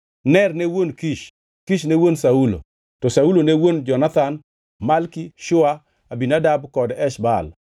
Ner ne wuon Kish, Kish ne wuon Saulo, to Saulo ne wuon Jonathan, Malki-Shua, Abinadab kod Esh-Baal.